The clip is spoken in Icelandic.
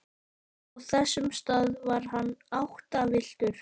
Á þessum stað var hann áttavilltur.